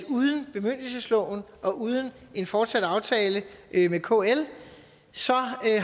uden bemyndigelsesloven og uden en fortsat aftale med kl